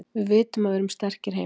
Við vitum að við erum sterkir heima.